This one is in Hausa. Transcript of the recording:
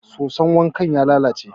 soson wanka ya lalace